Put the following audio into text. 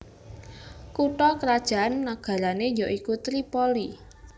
Kutha krajan nagarané ya iku Tripoli